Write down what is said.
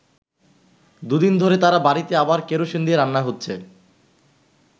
দুদিন ধরে তার বাড়িতে আবার কেরোসিন দিয়ে রান্না হচ্ছে।